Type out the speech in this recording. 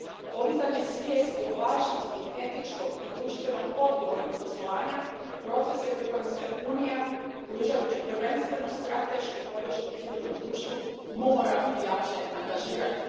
Podizanje svijesti o važnosti etičkog i društveno odgovornog poslovanja proces je u kojem se Unija, pružajući prvenstveno stratešku podršku civilnom društvu, mora jače angažirati.